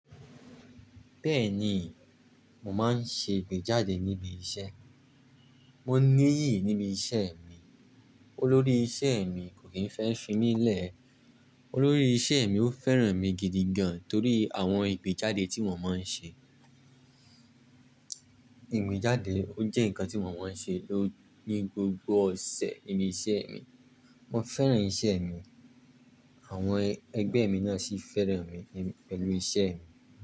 Bẹ́ẹ̀ni, mo máa ń ṣe ìgbéjáde níbi iṣẹ́. Mo níyì níbi iṣẹ́ mi. Olórí ìṣe mi kò kí ń fẹ́ fínilẹ̀. Olórí iṣẹ́ mi ò fẹ́ràn mi gidigan torí àwọn igbejade to mo má ń ṣe. Ìgbéjáde ó jẹ́ nǹkan tí mo máa ń ṣe ló ní gbogbo ọ̀sẹ̀ ní iṣẹ́ mi. Mo fẹ́ràn iṣẹ́ mi, àwọn ẹgbẹ́ mi náà sì fẹ́ràn mi pẹ̀lú iṣẹ́ mi.